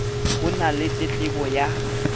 ho na le tletlebo ya